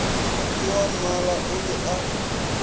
ke wammala o be a